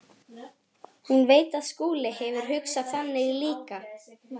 Hún veit að Skúli hefur hugsað þannig líka.